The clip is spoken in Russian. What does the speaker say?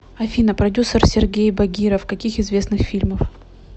афина продюсер сергеи багиров каких известных фильмов